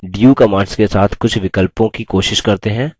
अब du command के साथ कुछ विकल्पों की कोशिश करते हैं